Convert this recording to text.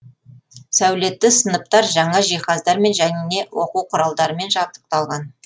сәулетті сыныптар жаңа жиһаздармен және оқу құралдарымен жабдықталған